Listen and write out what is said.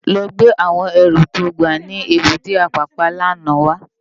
Lò gbé áwòn èrú tó gbá ni ébùté Apapa làná wá